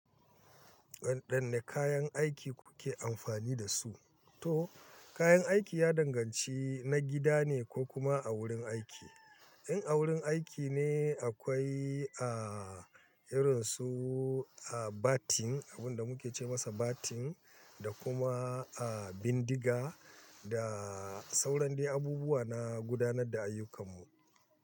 Wadanne kayan aiki kuke amfani da su? Toh kayan aiki ya danganci na gida ne ko kuma a wurin aiki. In a wurin aiki ne akwai a irin su a batting abunda muke ce masa batting da kuma a bindiga da sauran dai abubuwa na gudanar da ayyukanmu.